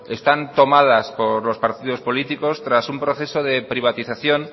están tomadas por los partidos políticos tras un proceso de privatización